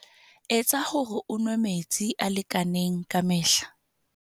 Etsa hore o nwe metsi a lekaneng ka mehla.